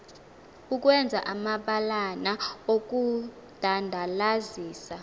ukwenza amabalana okudandalazisa